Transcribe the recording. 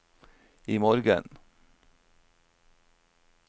imorgen